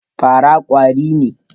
Farawa kwari ne.